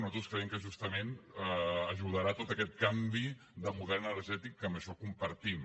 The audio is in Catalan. nosaltres creiem que justament ajudarà a tot aquest canvi de model energètic que això ho compartim